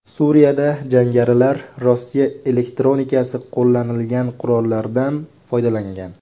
Suriyada jangarilar Rossiya elektronikasi qo‘llanilgan qurollardan foydalangan.